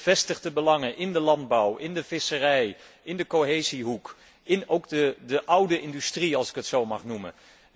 Gevestigde belangen in de landbouw, in de visserij, in de cohesiehoek, en ook in de oude industrie als ik het zo mag noemen.